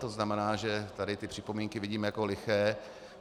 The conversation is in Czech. To znamená, že tady ty připomínky vidím jako liché.